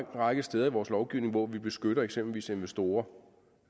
række steder i vores lovgivning hvor vi beskytter eksempelvis investorer